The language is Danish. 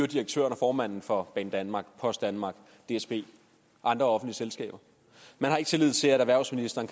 direktøren og formanden for banedanmark post danmark dsb andre selskaber man har ikke tillid til at erhvervsministeren